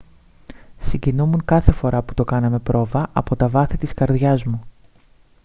συγκινούμουν κάθε φορά που το κάναμε πρόβα από τα βάθη της καρδιάς μου